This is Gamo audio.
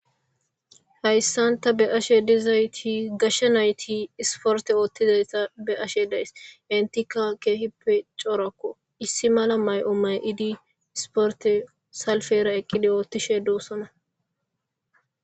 Haysan ta be'ashe dizayti gashe nayti isporte oothishe dizaysa be'ashe daysi entika kehippe corako mayo mayidi isporte oothishe dosona